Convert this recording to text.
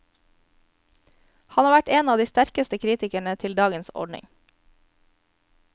Han har vært en av de sterkeste kritikerne til dagens ordning.